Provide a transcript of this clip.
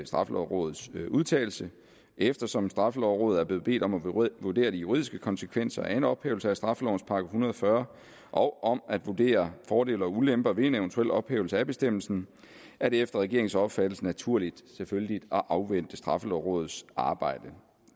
straffelovrådets udtalelse eftersom straffelovrådet er blevet bedt om at vurdere de juridiske konsekvenser af en ophævelse af straffelovens § en hundrede og fyrre og om at vurdere fordele og ulemper ved en eventuel ophævelse af bestemmelsen er det efter regeringens opfattelse naturligt at afvente straffelovrådets arbejde